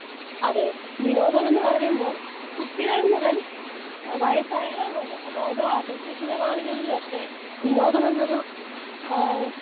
Speaker 2 അതെ. വിനോദം എന്ന് പറയുമ്പോൾ കുട്ടികൾ മുതൽ വയസ്സായവർ അവരെ, അതായത്, വാർദ്ധക്യത്തിന്റെ നാളുകൾ വരെ വിനോദം എന്നൊരു അഹ്